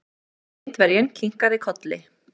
Indverjinn kinkaði kolli.